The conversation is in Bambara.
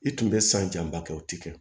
I tun bɛ san janba kɛ o ti kɛ